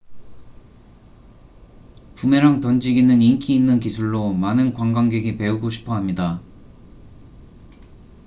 부메랑 던지기는 인기 있는 기술로 많은 관광객이 배우고 싶어 합니다